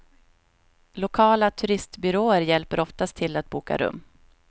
Lokala turistbyråer hjälper oftast till att boka rum.